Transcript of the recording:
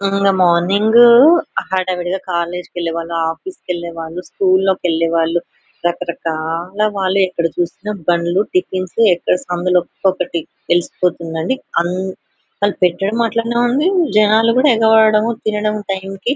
మార్నింగూ హడావిడిగా కాలేజీ కేలేవాళ్ళు ఆఫీస్ కేలేవాళ్ళు స్కూల్ కేలేవాళ్ళు రకరకాలా వాలు ఎక్కడ చూసిన బండ్లు టిఫిన్స్ ఎక్కడ సందులో తెలిసిపోతుండంది.అంత వాళ్ళు పెట్టడము అట్లనే ఉంది. జెనాలు ఎగవాడడం తినడము టైం కి.